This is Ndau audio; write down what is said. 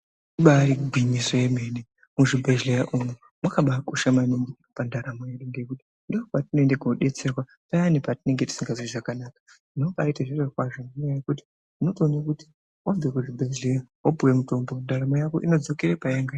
Ibaari gwinyiso yemene, muzvibhedhleya umwu mwakabaakosha maningi pandaramo yedu. Ngekuti ndopatinoende koobetserwa payani patinenge tisingazwi zvakanaka. Unombaite zvirokwazvo nenyaya yekuti unotoone kuti wabve kuzvibhedhleya, wpuwe mutombo, ndaramo yako inodzokera payanga iri.